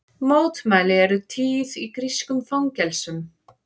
Mótmæli eru tíð í grískum fangelsum